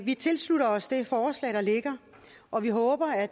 vi tilslutter os det forslag der ligger og vi håber at